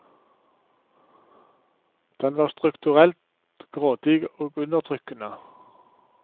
Den var strukturelt grådig og undertrykkende.